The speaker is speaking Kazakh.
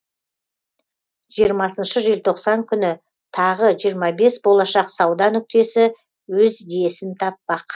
жиырмасыншы желтоқсан күні тағы жиырма бес болашақ сауда нүктесі өз иесін таппақ